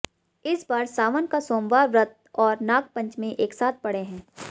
इस बार सावन का सोमवार व्रत और नागपंचमी एक साथ पड़े हैं